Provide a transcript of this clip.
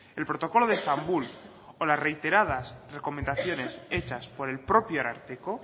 el protocolo de estambul o las reiteradas recomendaciones hechas por el propio ararteko